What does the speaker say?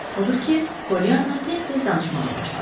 Odur ki, Pollyanna tez-tez danışmağa başladı.